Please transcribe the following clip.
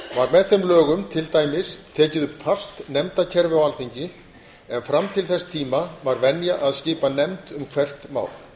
með þeim lögum til dæmis tekið upp fast nefndakerfi á alþingi en fram til þess tíma var venja að skipa nefnd um hvert mál